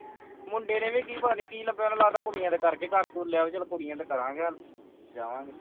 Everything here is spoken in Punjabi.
ਮੁੰਡੇ ਨੇ ਵੀ ਪਤਾ ਨਹੀਂ ਕੀ ਲੱਭਿਆ ਉਸਨੇ ਲੱਗਦਾ ਕੁੜੀਆਂ ਕਰਕੇ ਚਲੋ ਕੁੜੀਆ ਤੇ ਕਰਾਂਗੇ ਹੱਲ ਵਜਾਵਾਂ ਗੇ